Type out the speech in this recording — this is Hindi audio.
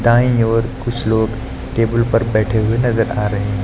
दाएं ओर कुछ लोग टेबल पर बैठे हुए नजर आ रहे हैं।